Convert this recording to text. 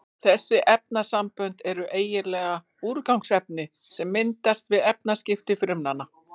Þessi efnasambönd eru eiginlega úrgangsefni sem myndast við efnaskipti frumnanna.